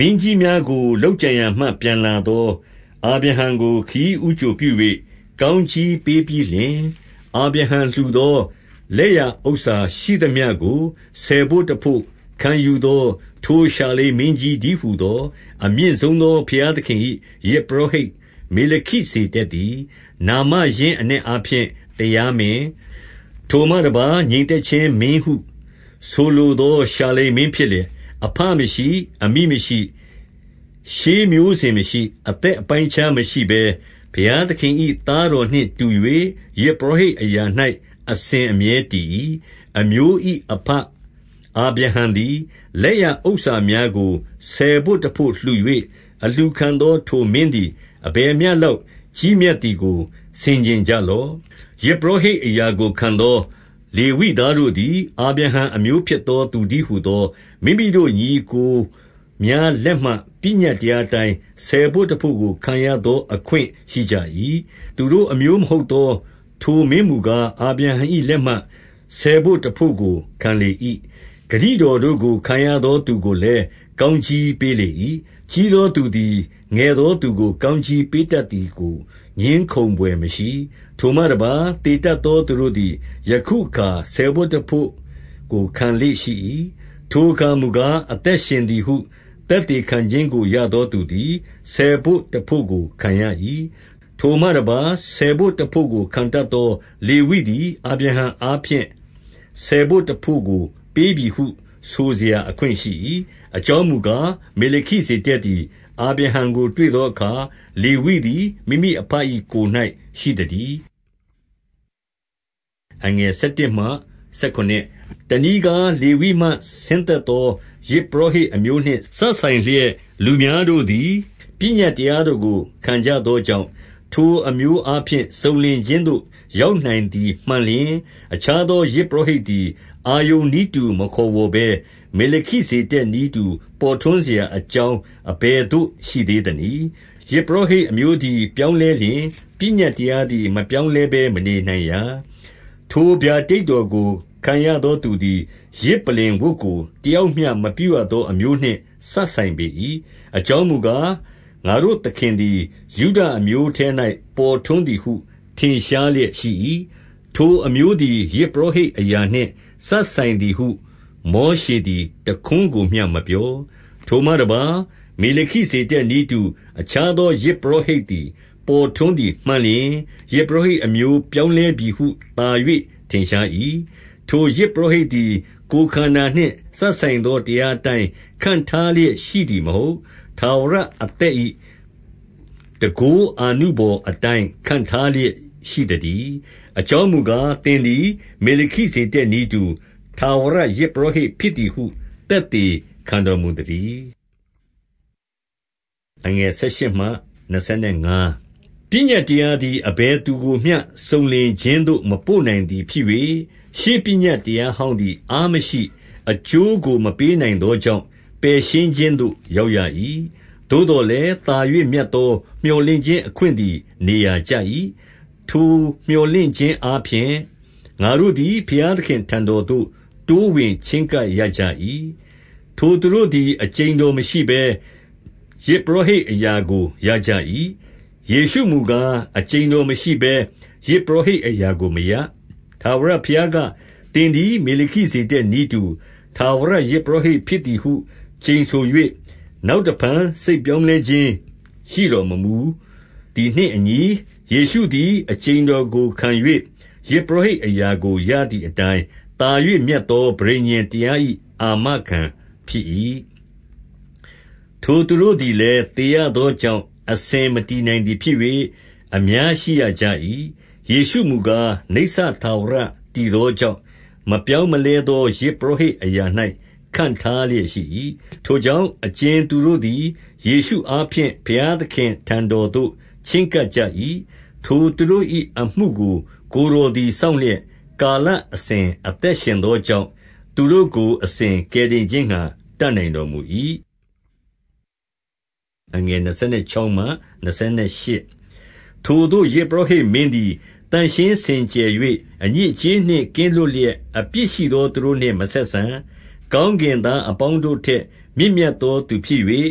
မင်းကြီးများကို လုပ်ကြံရာမှ ပြန်လာသော အာဗြဟံကို ခရီးဦးကြိုပြု၍ ကောင်းကြီးပေးပြီးလျှင်၊ 2 အာဗြဟံလှူသောလက်ရဥစ္စာရှိသမျှကို ဆယ်ဘို့တဘို့ခံယူသော ထိုရှာလင်မင်းကြီးတည်းဟူသော အမြင့် ဆုံးသော ဘုရားသခင်၏ ယဇ်ပုရောဟိတ် မေလခိဇေဒက်သည်၊ နာမရင်းအနက်အားဖြင့် တရားမင်း၊ ထိုမှ တပါး၊ ငြိမ်သက်ခြင်းမင်းဟုဆိုလိုသော ရှာလင်မင်း ဖြစ်လျက်၊ 3 အဘမရှိ၊ အမိမရှိ၊ ရှေးမျိုးစဉ်မရှိ၊ အသက် အပိုင်းအခြားမရှိဘဲ၊ ဘုရားသခင်၏ သားတော်နှင့် တူ၍၊ ယဇ်ပုရောဟိတ်အရာ၌ အစဉ်အမြဲတည်၏။ 4 အမျိုး၏အဘအာဗြဟံသည်၊ လက်ရဥစ္စာများကို ဆယ်ဘို့တဘို့လှူ၍ အလှူခံသောထိုမင်းသည် အဘယ်မျှ လောက်ကြီးမြတ်သည်ကို ဆင်ခြင်ကြလော့။ 5 ယဇ်ပုရောဟိတ်အရာကိုခံသော လေဝိသားတို့သည် အာဗြဟံအမျိုးဖြစ်သောသူတည်းဟူသော၊ မိမိတို့ ညီအစ်ကိုများလက်မှ ပညတ်တရားအတိုင်း ဆယ်ဘို့တဘို့ကို ခံရသော အခွင့်ရှိကြ၏။ 6 သူတို့ အမျိုးမဟုတ်သော ထိုမင်းမူကား၊ အာဗြဟံ၏ လက်မှ ဆယ်ဘို့တဘို့ကို ခံလေ၏။ ဂတိတော် တို့ကိုခံရသော သူကိုလည်း ကောင်းချီးပေးလေ၏။ 7 ကြီးသောသူသည် ငယ်သောသူကို ကောင်းကြီး ပေးတတ်သည်ကို ငြင်းခုံဘွယ်မရှိ။ 8 ထိုမှတပါး၊ သေတတ်သောသူတို့သည် ယခုအခါ ဆယ်ဘို့တဘို့ကို ခံလေ့ရှိ၏။ ထိုအခါမူကား အသက်ရှင် သည်ဟု သက်သေခံခြင်းကို ရသောသူသည် ဆယ်ဘို့တဘို့ကိုခံရ၏။ 9 ထိုမှတပါး၊ ဆယ်ဘို့တဘို့ကိုခံတတ်သော လေဝိသည် အာဗြဟံအားဖြင့် ဆယ်ဘို့တဘို့ကို ပေးပြီဟု ဆိုစရာ အခွင့်ရှိ၏။ 10 အကြောင်းမူကား၊ မေလခိဇေဒက်သည် အာဗြဟံကိုတွေ့သောအခါ၊ လေဝိသည် မိမိအဘ၏ ကိုယ်၌ရှိသတည်း။ 11 တနည်းကား၊ လေဝိမှဆင်းသက်သော ယဇ်ပုရောဟိတ်အမျိုးနှင့် စပ်ဆိုင်လျက်လူများတို့သည် ပညတ်တရားတော်ကို ခံကြသောကြောင့်၊ ထိုအမျိုးအားဖြင့် စုံလင်ခြင်းသို့ ရောက်နိုင်သည်မှန်လျှင်၊ အခြား သော ယဇ်ပုရောဟိတ်သည်၊ အာရုန်နည်းတူ မခေါ်ဝေါ်ဘဲ၊ မေလခိဇေဒက်နည်းတူ ပေါ်ထွန်းစရာအကြောင်း အဘယ်သို့ရှိသေးသနည်း။ 12 ယဇ်ပုရောဟိတ်အမျိုးသည် ပြောင်းလဲလျှင်၊ ပညတ်တရားသည် မပြောင်းလဲဘဲမနေနိုင်ရာ။ 13 ထိုဗျာဒိတ်တော်ကို ခံရသောသူသည်၊ ယဇ်ပလ္လင်ဝတ်ကို တယောက်မျှမပြုရသောအမျိုးနှင့် စပ်ဆိုင် ပေ၏။ 14 အကြောင်းမူကား၊ ငါတို့သခင်သည် ယုဒအမျိုးထဲ၌ ပေါ်ထွန်းသည်ဟု ထင်ရှားလျက်ရှိ၏။ ထိုအမျိုး သည် ယဇ်ပုရောဟိတ်အရာနှင့် စပ်ဆိုင်သည်ဟုမောရှေသည် တခွန်းကိုမျှမပြော။ 15 ထိုမှတပါး၊ မေလခိဇေဒက်နည်းတူ အခြားသော ယဇ်ပုရောဟိတ်သည် ပေါ်ထွန်းသည်မှန်လျှင်၊ ယဇ် ပုရောဟိတ်အမျိုး ပြောင်းလဲပြီဟု သာ၍ထင်ရှား၏။ 16 ထိုယဇ်ပုရောဟိတ်သည် ကိုယ်ခန္ဓာနှင့် စပ်ဆိုင်သော တရားအတိုင်း ခန့်ထားလျက်ရှိသည်မဟုတ်။ ထာဝရအသက်၏ တန်ခိုးအာနုဘော်အတိုင်း ခန့်ထားလျက်ရှိသတည်း။ 17 အကြောင်းမူကား၊ သင်သည် မေလခိဇေဒက်နည်းတူ၊ ထာဝရ ယဇ်ပုရောဟိတ်ဖြစ်သည်ဟု သက်သေ ခံတော်မူသတည်း။ 18 ပညတ်တရားသည် အဘယ်သူကိုမျှ စုံလင်ခြင်းသို့ မပို့နိုင်သည် ဖြစ်၍၊ 19 ရှေးပညတ်တရားဟောင်းသည်၊ အားမရှိ၊ အကျိုးကို မပေးနိုင်သောကြောင့်၊ ပယ်ရှင်းခြင်းသို့ ရောက် ရ၏။ သို့သော်လည်း၊ သာ၍မြတ်သော မြော်လင့်ခြင်းအခွင့်သည် နေရာကျ၏။ ထိုမြော်လင့်ခြင်းအားဖြင့် ငါတို့သည် ဘုရားသခင့်အထံတော်သို့ တိုးဝင်ချဉ်းကပ်ရကြ၏။ 20 ထိုသူတို့သည် အကျိန်တော်မရှိဘဲ ယဇ်ပုရောဟိတ်အရာကို ရကြ၏။ 21 ယေရှုမူကား၊ အကျိန်တော်မရှိဘဲ ယဇ်ပုရောဟိတ်အရာကိုမရ၊ ထာဝရဘုရားက၊ သင်သည် မေလခိ ဇေဒက်နည်းတူ ထာဝရယဇ်ပုရောဟိတ်ဖြစ်သည်ဟု ကျိန်ဆို၍၊ နောက်တဖန် စိတ်ပြောင်းလဲခြင်းရှိတော် မမူသည်နှင့်အညီ၊ ယေရှုသည် အကျိန်တော်ကိုခံ၍ ယဇ်ပုရောဟိတ်အရာကို ရသည်အတိုင်း၊ 22 သာ၍မြတ်သော ပဋိညာဉ်တရား၏ အာမခံဖြစ်၏။ 23 ထိုသူတို့သည်လည်း သေရသောကြောင့် အစဉ်မတည်နိုင်သည် ဖြစ်၍ အများရှိရကြ၏။ 24 ယေရှုမူကား၊ နိစ္စထာဝရတည်သောကြောင့် မပြောင်းမလဲသော ယဇ်ပုရောဟိတ်အရာ၌ ခန့်ထား လျက်ရှိ၏။ 25 ထိုကြောင့်၊ အကြင်သူတို့သည် ယေရှုအားဖြင့် ဘုရားသခင့်အထံတော်သို့ ချဉ်းကပ်ကြ၏၊ ထိုသူတို့၏ အမှုကို ကိုယ်တော်သည် စောင့်လျက်၊ ကာလအစဉ် အသက်ရှင်သောကြောင့်၊ သူတို့ကို အစဉ်ကယ်တင်ခြင်း ငှါ တတ်နိုင်တော်မူ၏။ 26 ထိုသို့သော ယဇ်ပုရောဟိတ်မင်းသည် သန့်ရှင်းစင်ကြယ်၍ အညစ်အကြေးနှင့် ကင်းလွတ်လျက် အပြစ်ရှိသော သူတို့နှင့်မဆက်ဆံ၊ ကောင်းကင်သားအပေါင်းတို့ထက် မြင့်မြတ်သောသူဖြစ်၍၊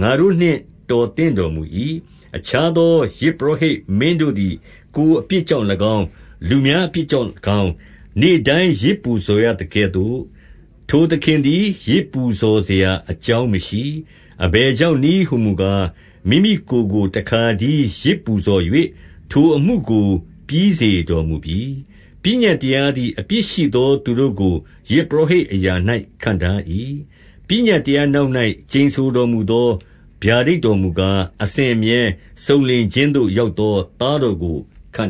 ငါတို့နှင့် တော်သင့်တော်မူ၏။ 27 အခြားသော ယဇ်ပုရောဟိတ်မင်းတို့သည် ကိုယ်အပြစ်ကြောင့်၎င်း၊ လူများအပြစ်ကြောင့်၎င်း၊ နေ့တိုင်း ယဇ်ပူဇော်ရသကဲ့သို့၊ ထိုသခင်သည် ယဇ်ပူဇော်စရာအကြောင်းမရှိ၊ အဘယ်ကြောင့်နည်းဟူမူကား၊ မိမိ ကိုယ်ကိုတခါတည်း ယဇ်ပူဇော်၍ ထိုအမှုကို ပြီးစီးတော်မူပြီ။ 28 ပညတ်တရားသည် အပြစ်ရှိသောသူတို့ကို ယဇ်ပုရောဟိတ် အရာ၌ခန့်ထား၏။ ပညတ်တရား နောက်၌ ကျိန်ဆိုတော်မူသော ဗျာဒိတ်တော်မူကား၊ အစဉ်အမြဲစုံလင်ခြင်းသို့ရောက်သော သားတော်ကို ခန့်